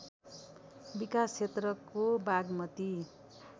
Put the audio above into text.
विकास क्षेत्रको बागमती